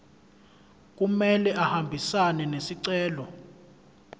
kumele ahambisane nesicelo